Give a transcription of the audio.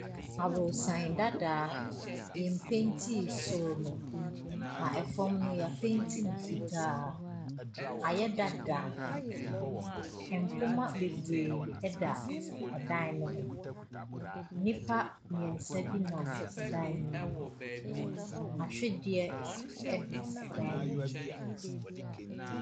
Aborosan dadaa, yɛn mpɛnti soro no. Na ɛfam no, y'apɛnti no fitaa. Ayɛ dadaa. Mpoma bebree ɛda ɛdan no ho. Nnipa mmiɛnsa bi nam ɛdan ne mu. Ahwedeɛ ɛda ɛdan no mu.